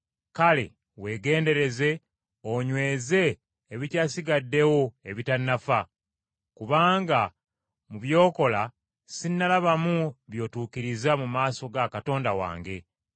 Kale weegendereze onyweze ebikyasigaddewo ebitannafa. Kubanga mu by’okola sinnalabamu by’otuukiriza mu maaso ga Katonda wange.